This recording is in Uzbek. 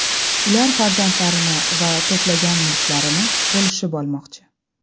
Ular farzandlarini va to‘plangan mulklarni bo‘lishib olmoqchi.